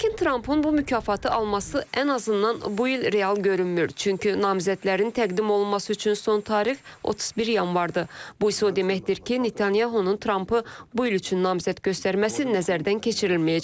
Lakin Trump-ın bu mükafatı alması ən azından bu il real görünmür, çünki namizədlərin təqdim olunması üçün son tarix 31 yanvardır, bu isə o deməkdir ki, Netanyahunun Trump-ı bu il üçün namizəd göstərməsi nəzərdən keçirilməyəcək.